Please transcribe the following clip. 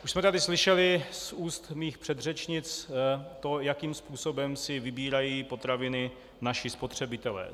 Už jsme tady slyšeli z úst mých předřečnic to, jakým způsobem si vybírají potraviny naši spotřebitelé.